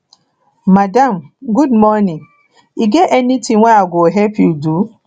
madam good morning e get anytin wey i go help you do